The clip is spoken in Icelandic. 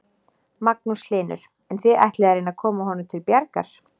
Magnús Hlynur: En þið ætlið að reyna að koma honum til bjargar?